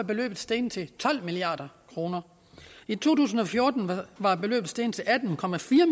beløbet steget til tolv milliard kroner i to tusind og fjorten var beløbet steget til atten